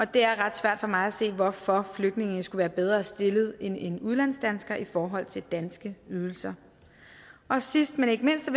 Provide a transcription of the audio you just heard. det er ret svært for mig at se hvorfor flygtninge skulle være bedre stillet end en udlandsdansker i forhold til danske ydelser sidst men ikke mindst